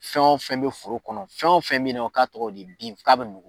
Fɛn o fɛn be foro kɔnɔ, fɛn o fɛn me nɔ, k'a tɔgɔ de bin k'a be